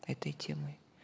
этой темой